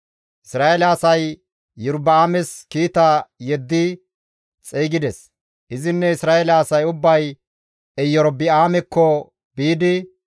Isra7eele asay Iyorba7aames kiita yeddi xeygides; izinne Isra7eele asay ubbay Erobi7aamekko biidi,